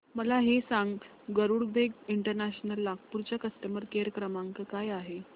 मला हे सांग गरुडवेग इंटरनॅशनल नागपूर चा कस्टमर केअर क्रमांक काय आहे